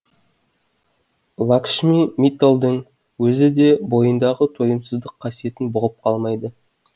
лакшми митталдың өзі де бойындағы тойымсыздық қасиетін бұғып қалмайды